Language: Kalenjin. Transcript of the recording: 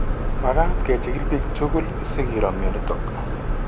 Magat kechigil biik tugul sikiro mionitok